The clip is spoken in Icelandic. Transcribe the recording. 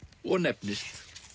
og nefnist